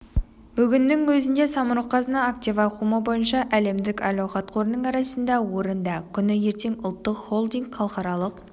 бүгіннің өзінде самұрық-қазына актив ауқымы бойынша әлемдік әл-ауқат қорының арасында орында күні ертең ұлттық холдинг халықаралық